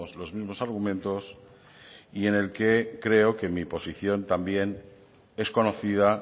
los mismos argumentos y en el que creo que mi posición también es conocida